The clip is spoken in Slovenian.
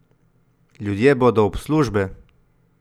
Ljudje bodo ob službe!